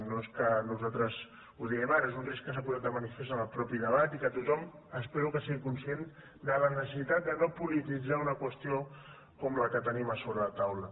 no és que nosaltres ho diem ara és un risc que s’ha posat de manifest en el mateix debat i que tothom espero que sigui conscient de la necessitat de no polititzar una qüestió com la que tenim sobre la taula